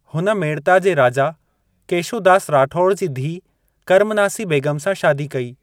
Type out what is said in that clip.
हुन मेड़ता जे राजा केशो दास राठौड़ जी धीउ कर्मनासी बेगम सां शादी कई।